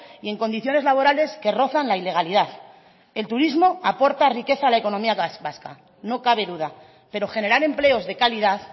y en condiciones laborales que rozan la ilegalidad el turismo aporta riqueza a la economía vasca no cabe duda pero generar empleos de calidad